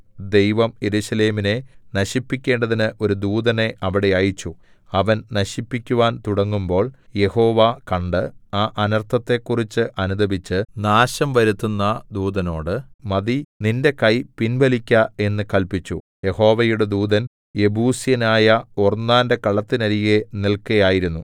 ദൈവം യെരൂശലേമിനെ നശിപ്പിക്കേണ്ടതിന് ഒരു ദൂതനെ അവിടെ അയച്ചു അവൻ നശിപ്പിക്കുവാൻ തുടങ്ങുമ്പോൾ യഹോവ കണ്ട് ആ അനർത്ഥത്തെക്കുറിച്ചു അനുതപിച്ച് നാശം വരുത്തുന്ന ദൂതനോട് മതി നിന്റെ കൈ പിൻവലിക്ക എന്നു കല്പിച്ചു യഹോവയുടെ ദൂതൻ യെബൂസ്യനായ ഒർന്നാന്റെ കളത്തിന്നരികെ നില്‍ക്കയായിരുന്നു